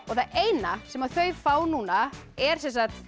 það eina sem þau fá núna er